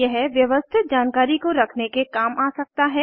यह व्यवस्थित जानकारी को रखने के काम आ सकता है